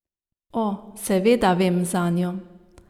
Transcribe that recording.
O, seveda vem zanjo.